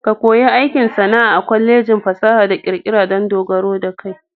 Ka ko yi aikin sana'a a Kwalejin fasaha da ƙirƙira dan dogaro da kai.